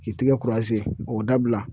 K'i tigɛ k'o dabila.